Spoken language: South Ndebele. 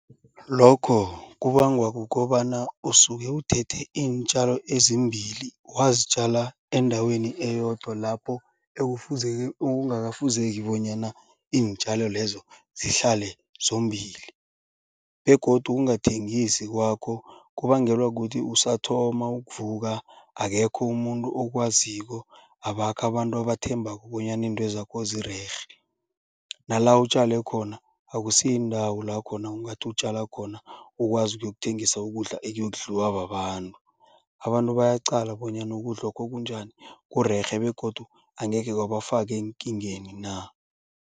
Lokho kubangwa kukobana usuke uthethe iintjalo ezimbili wazitjala endaweni eyodwa lapho ekungafuzeki bonyana iintjalo lezo zihlale zombili. Begodu ukungathengisi kwakho kubangelwa kuthi usathoma ukuvuka akekho umuntu okwaziko abakho abantu abathembako bonyana intozakho zirerhe. Nala utjale khona akusiyindawo la khona ongathi utjala khona ukwazi yokuthengisa ukudla ekuyokudliwa babantu. Abantu bayaqala bonyana ukudla lokho kunjani kurerhe begodu angekhe kwabafaka eenkingeni na.